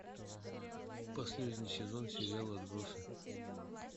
последний сезон сериал отбросы